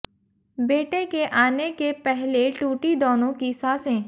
बेटे के आने के पहले टूटी दोनों की सांसें